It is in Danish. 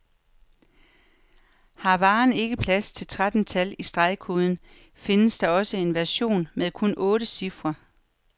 Har varen ikke plads til tretten tal i stregkoden, findes der også en version med kun otte cifre.